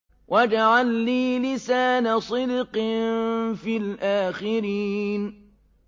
وَاجْعَل لِّي لِسَانَ صِدْقٍ فِي الْآخِرِينَ